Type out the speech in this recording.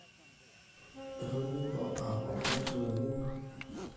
itoniko ake kuusu El nino